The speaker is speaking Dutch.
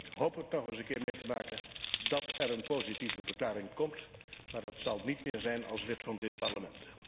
Ik hoop dat ik het nog een keer mee mag maken dat er een positieve verklaring komt, maar dat zal niet meer zijn als lid van dit Parlement.